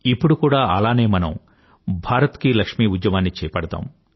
ఇప్పుడు కూడా అలానే మనం భారత లక్ష్మి ఉద్యమాన్ని చేపడదాం